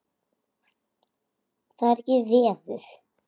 Það er ekkert veður.